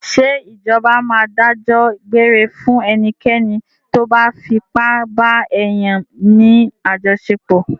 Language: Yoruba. Ṣé Ìjọba máa dájọ́ gbére fún ẹnikẹ́ni tóbá fipá ba èèyàn ní àjọṣepọ̀.